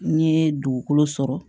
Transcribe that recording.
N ye dugukolo sɔrɔ